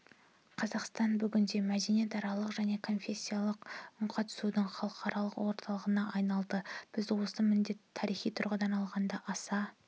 қазақстан бүгінде мәдениетаралық және конфессияаралық үнқатысудың халықаралық орталығына айналды біз осы міндетті тарихи тұрғыдан алғанда аса